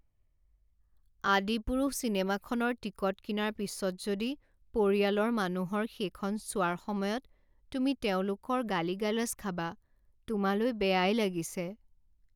আদিপুৰুষ' চিনেমাখনৰ টিকট কিনাৰ পিছত যদি পৰিয়ালৰ মানুহৰ সেইখন চোৱাৰ সময়ত তুমি তেওঁলোকৰ গালি গালাজ খাবা। তোমালৈ বেয়াই লাগিছে।